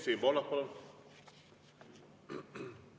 Siim Pohlak, palun!